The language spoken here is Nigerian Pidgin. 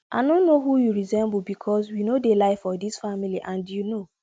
i no know who you resemble because we no dey lie for dis family and you know